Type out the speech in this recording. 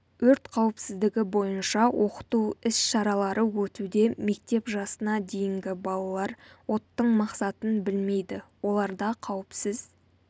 өрт қауіпсіздігі бойынша оқыту іс-шаралары өтуде мектеп жасына дейінгі балалар оттың мақсатын білмейді оларда қауіпсіз